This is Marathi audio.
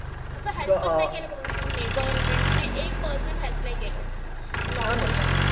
आता help पण नाही केलं government ने एक percent पण नाही केलं. lockdown वर.